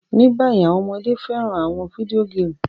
Ní bayi, àwon ọmọde fẹ́ràn àwon video game